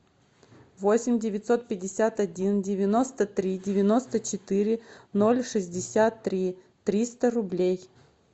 восемь девятьсот пятьдесят один девяносто три девяносто четыре ноль шестьдесят три триста рублей